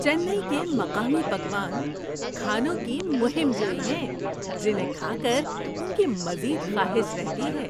چنئی کے مقامی پکوان کھانوں کی مہم جوئی ہیں جنہیں کھا کر ان کی مزید خواہش رہتی ہے۔